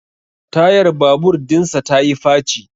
Tayar babur dinsa ta yi faci